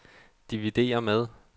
dividér med